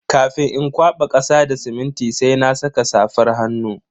Kafin in kwaba kasa da siminti sai na saka safar hannu.